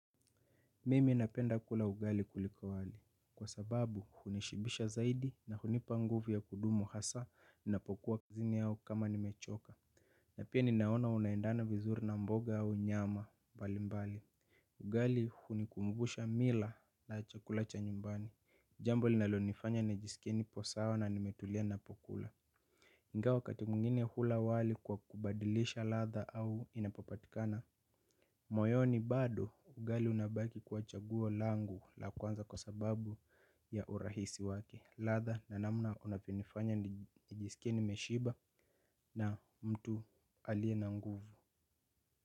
Mimi napenda kula ugali kuliko wali. Kwa sababu, hunishibisha zaidi na hunipa nguvu ya kudumu hasa ninapokuwa kizini yao kama nimechoka. Na pia ninaona unaendana vizuri na mboga au nyama, bali mbali. Ugali hunikumbusha mila na chakulacha nyumbani. Jambo linalonifanya nijiskie nipo sawa na nimetulia ninapokula ingawa wakati mgine hula wali kwa kubadilisha latha au inapopatikana. Moyoni bado ugali unabaki kuwa chaguo langu la kwanza kwa sababu ya urahisi wake. Ladha na namna unapionifanya nijisikie nimeshiba na mtu alie na nguvu.